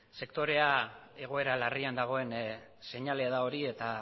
sektorea egoera larrian dagoen seinalea da hori eta